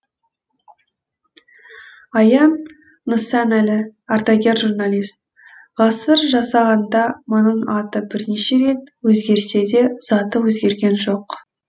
аян нысанәлі ардагер журналист ғасыр жасағанда мұның аты бірнеше рет өзгерсе де заты өзгерген жоқ